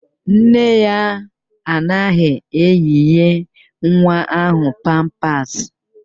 Nne ya anaghị eyinye nwa ahụ pampasị